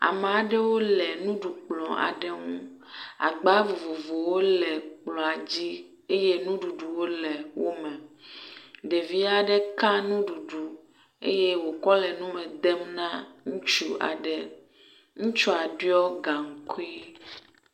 Amea ɖewo le nuɖukplɔ aɖe ŋu, agba vovovowo le kplɔa dzi eye nuɖuɖuwo le wo me. Ɖevi aɖe ka nuɖuɖu eye wòkɔ le nume dem na ŋutsu aɖe. Ŋutsua ɖɔ gaŋkui.